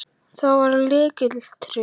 Helga: Það var lykilatriðið?